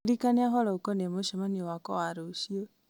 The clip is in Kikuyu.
ndirikania ũhoro ũkoniĩ mũcemanio wakwa wa rũciũ